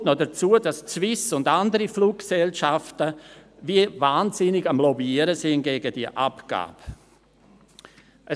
Kommt noch hinzu, dass die Swiss und andere Fluggesellschaften wie wahnsinnig gegen diese Abgabe lobbyieren.